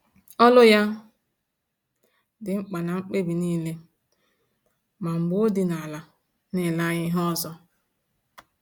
Olu ya dị mkpa na mkpebi niile, ma mgbe ọdịnala na-ele anya ihe ọzọ